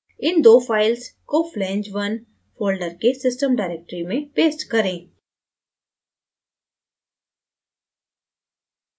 इन दो files को flange _ 1 folder के system directory में paste करें